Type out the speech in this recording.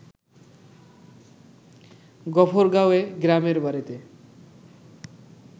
গফরগাঁওএ গ্রামের বাড়িতে